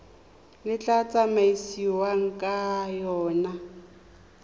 le tla tsamaisiwang ka yona